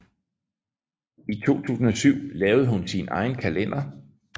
I 2007 lavede hun sin egen kalender